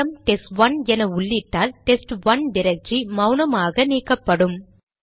RM test one என உள்ளிட்டால் test one directory மௌனமாக நீக்கப்படும்